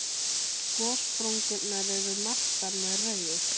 Gossprungurnar eru merktar með rauðu.